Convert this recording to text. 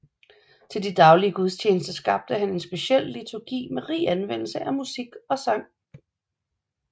Til de daglige gudstjenester skabte han en speciel liturgi med rig anvendelse af musik og sang